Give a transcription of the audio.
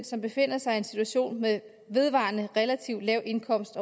som befinder sig i en situation med vedvarende relativt lav indkomst